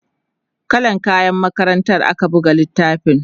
kallan kayan makarantar ake buga littafin